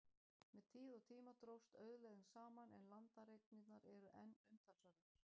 Með tíð og tíma dróst auðlegðin saman, en landareignirnar eru enn umtalsverðar.